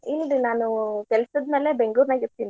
ಇಲ್ರಿ ನಾನು ಕೆಲ್ಸದ್ ಮೇಲೆ ಬೆಂಗ್ಳೂರ್ ನಾಗ ಇರ್ತಿನ್ರಿ.